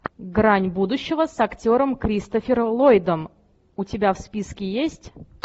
грань будущего с актером кристофером ллойдом у тебя в списке есть